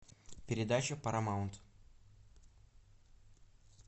передача парамаунт